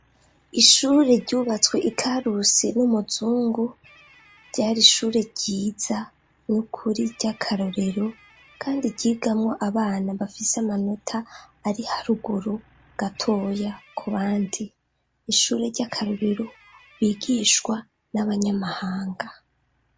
Ishure ryubatswe ikarusi n'umuzungu ryari ishure ryiza n'ukuri ry'akarorero kandi ryigamwo abana bafise amanota ari haruguru gatoya ku bandi ishure ry'akarorero bigishwa n'abanyamahanga.